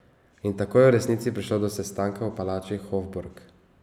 In tako je v resnici prišlo do sestanka v palači Hofburg.